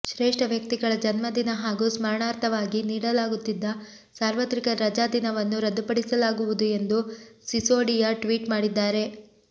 ಶ್ರೇಷ್ಠ ವ್ಯಕ್ತಿಗಳ ಜನ್ಮದಿನ ಹಾಗೂ ಸ್ಮರಣಾರ್ಥವಾಗಿ ನೀಡಲಾಗುತ್ತಿದ್ದ ಸಾರ್ವತ್ರಿಕ ರಜಾದಿನವನ್ನು ರದ್ದುಪಡಿಸಲಾಗುವುದು ಎಂದು ಸಿಸೋಡಿಯಾ ಟ್ವೀಟ್ ಮಾಡಿದ್ದಾರೆ